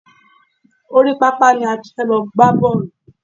Orí pápá ni a ti fẹ́ lọ gbá bọ́ọ̀lù.